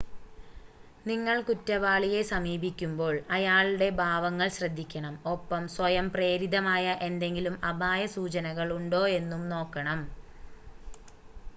നിങ്ങൾ കുറ്റവാളിയെ സമീപിക്കുമ്പോൾ അയാളുടെ ഭാവങ്ങൾ ശ്രദ്ധിക്കണം ഒപ്പം സ്വയം പ്രേരിതമായ എന്തെങ്കിലും അപായ സൂചനകൾ ഉണ്ടോ എന്നും നോക്കണം